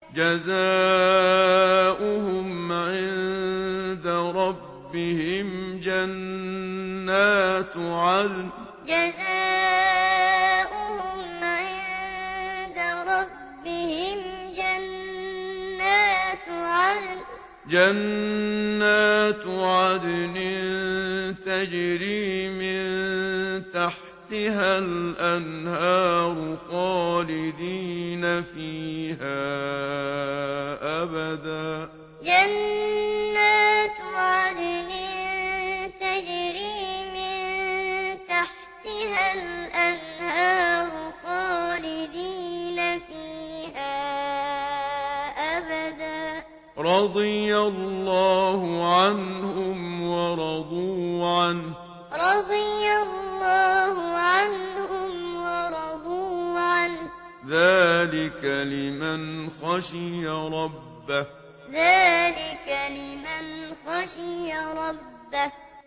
جَزَاؤُهُمْ عِندَ رَبِّهِمْ جَنَّاتُ عَدْنٍ تَجْرِي مِن تَحْتِهَا الْأَنْهَارُ خَالِدِينَ فِيهَا أَبَدًا ۖ رَّضِيَ اللَّهُ عَنْهُمْ وَرَضُوا عَنْهُ ۚ ذَٰلِكَ لِمَنْ خَشِيَ رَبَّهُ جَزَاؤُهُمْ عِندَ رَبِّهِمْ جَنَّاتُ عَدْنٍ تَجْرِي مِن تَحْتِهَا الْأَنْهَارُ خَالِدِينَ فِيهَا أَبَدًا ۖ رَّضِيَ اللَّهُ عَنْهُمْ وَرَضُوا عَنْهُ ۚ ذَٰلِكَ لِمَنْ خَشِيَ رَبَّهُ